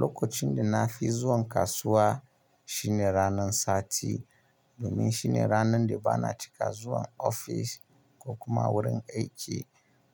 Lokacin da na fi zuwan kasuwa shine ranar sati, domin shine ranar da ba na cika zuwan ofis ko kuma wurin aiki.